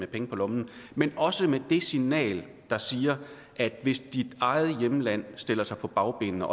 penge på lommen men også med det signal der siger at hvis dit eget hjemland stiller sig på bagbenene